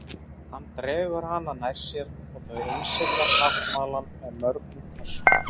Hann dregur hana nær sér og þau innsigla sáttmálann með mörgum kossum.